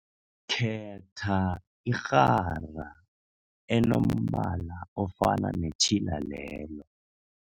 Khetha irhara enombala ofana netjhila lelo.